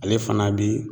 Ale fana bi